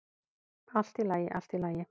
"""Allt í lagi, allt í lagi."""